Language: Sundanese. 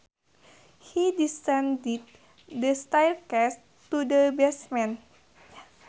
He descended the staircase to the basement